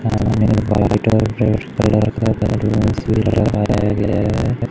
सामने वाइट और red colour का बैलून्स भी लगाया गया है।